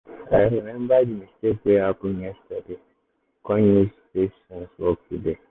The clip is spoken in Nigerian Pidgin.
i remember the mistake wey happen yesterday kon use patience work today.